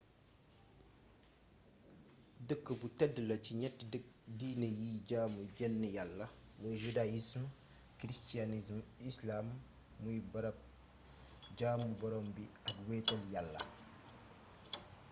dëkk bu tedd la ci ñatti diini yiy jaamu jenn yàlla muy judaïsme christianisme islam muy barab jaamu boroom bi ak wéetal yàlla